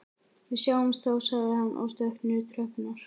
Við sjáumst þá sagði hann og stökk niður tröppurnar.